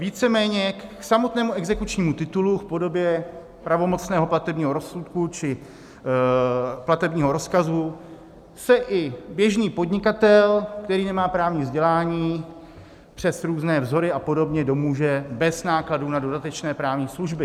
Víceméně k samotnému exekučnímu titulu v podobě pravomocného platebního rozsudku či platebního rozkazu se i běžný podnikatel, který nemá právní vzdělání, přes různé vzory a podobně domůže bez nákladů na dodatečné právní služby.